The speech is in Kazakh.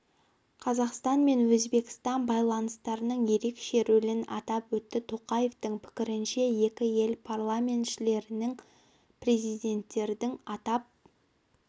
қазақстан мен өзбекстан байланыстарының ерекше рөлін атап өтті тоқаевтың пікірінше екі ел парламентшілерінің президенттердің атап